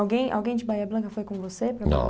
Alguém alguém de Bahia Blanca foi com você para... Não.